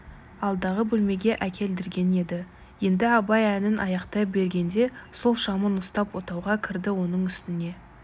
алдағы бөлмеге әкелдірген еді енді абай әнін аяқтай бергенде сол шамын ұстап отауға кірді оның үстіне